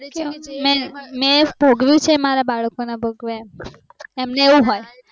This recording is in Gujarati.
મેં ભોગવ્યું છે એ મારા બાળકો ના ભોગવે એમ